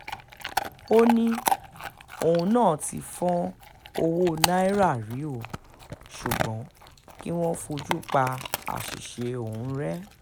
ó ní òun náà ti fọ́n ọwọ́ náírà rí o ṣùgbọ́n kí wọ́n fojú pa àṣìṣe òun rẹ́